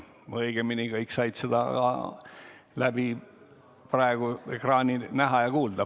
Või õigemini kõik said seda praegu ekraani abil näha ja kuulda.